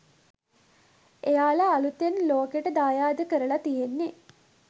එයාල අළුතෙන් ලෝකෙට දායාද කරල තියෙන්නෙ